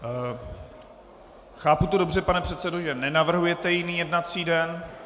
Chápu to dobře, pane předsedo, že nenavrhujete jiný jednací den.